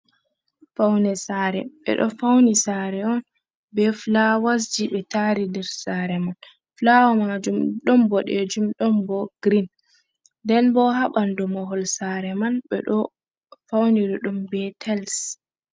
Faune sare bedo fauni sare on be flawasji be tari der sare man ,fulawo majum don bodejum don bo green nden bo habandu mahol sare man be do fauniri dum be tells.